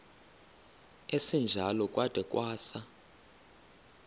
esinjalo kwada kwasa